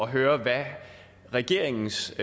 høre hvad regeringens